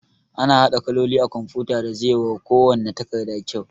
Ana haɗa kaloli a kumfuta da zai wa kuwanna takarda kyau